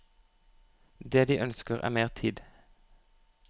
Det de ønsker er mer tid.